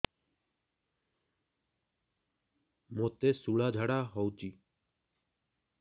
ମୋତେ ଶୂଳା ଝାଡ଼ା ହଉଚି